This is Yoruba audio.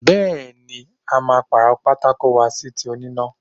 Bẹẹni, a máa paro pátákó wa sí ti oníná.